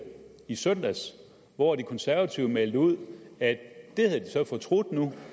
i søndags hvor de konservative meldte ud at det havde de så fortrudt nu